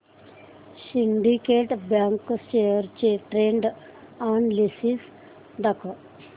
Syndicate Bank shares चे trend analysis दाखव